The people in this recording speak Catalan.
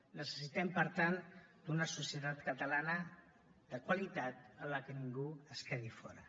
necessitem per tant una societat catalana de qualitat en què ningú es quedi fora